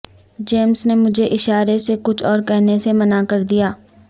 James نے مجھے اشارے سے کچھ اور کہنے سے منع کر دیا